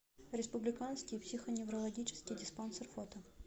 республиканский психоневрологический диспансер фото